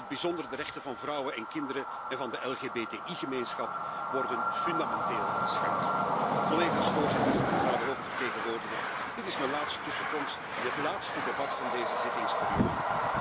In het bijzonder de rechten van vrouwen en kinderen, en van de LGBTI gemeenschap worden fundamenteel geschaad. Collega's, voorzitter, mevrouw de hoge vertegenwoordiger, dit is mijn laatste toespraak in het laatste debat van deze zittingsperiode.